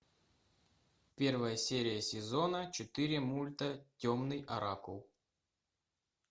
первая серия сезона четыре мульта темный оракул